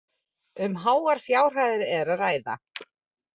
Um háar fjárhæðir er að ræða